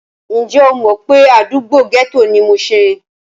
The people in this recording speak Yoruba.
Ǹjẹ́ o mọ̀ pé àdúgbò gẹ́tò ni mushin?